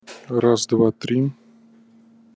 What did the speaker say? раз два три